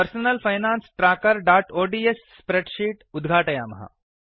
personal finance trackerओड्स् spreadsheet उद्घाटयामः